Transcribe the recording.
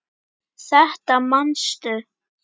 Þetta manstu.